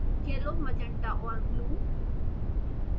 yellow magenta और blue